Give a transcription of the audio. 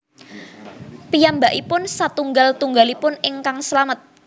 Piyambakipun satunggal tunggalipun ingkang slamet